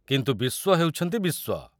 କିନ୍ତୁ ବିସ୍ୱ ହେଉଛନ୍ତି ବିସ୍ୱ।